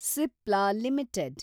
Cipla limited